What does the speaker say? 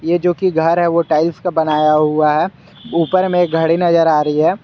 ये जो कि घर है वह टाइल्स का बनाया हुआ है ऊपर में घड़ी नजर आ रही है।